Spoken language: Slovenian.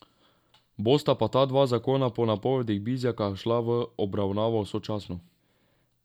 Bosta pa ta dva zakona po napovedih Bizjaka šla v obravnavo sočasno.